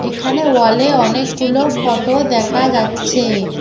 এখানে ওয়ালে অনেকগুলো ফোটো দেখা যাচ্ছে।